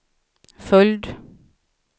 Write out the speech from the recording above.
följd